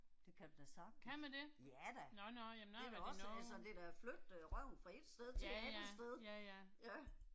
Det kan du da sagtens. Ja da. Det er da også, altså det er da flytte øh røven fra ét sted til et andet sted. Ja